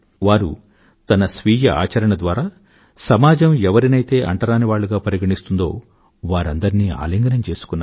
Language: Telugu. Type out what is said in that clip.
వారు తన స్వీయ ఆచరణ ద్వారా సమాజం ఎవరినైతే అంటరానివాళ్ళుగా పరిగణిస్తుందో వారందరినీ ఆలింగనం చేసుకున్నారు